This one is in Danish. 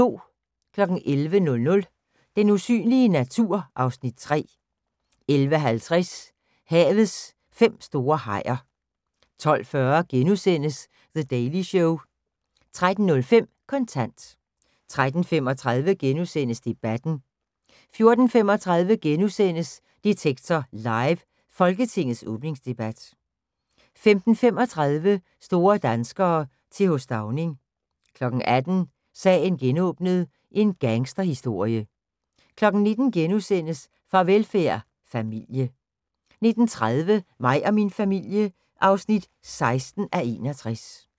11:00: Den usynlige natur (Afs. 3) 11:50: Havets fem store hajer 12:40: The Daily Show * 13:05: Kontant 13:35: Debatten * 14:35: Detektor Live: Folketingets åbningsdebat * 15:35: Store danskere - Th. Stauning 18:00: Sagen genåbnet: En gangsterhistorie 19:00: Farvelfærd: Familie * 19:30: Mig og min familie (16:61)